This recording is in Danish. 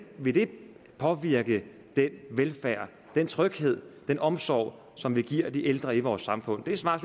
vil det påvirke den velfærd den tryghed den omsorg som vi giver de ældre i vores samfund det svar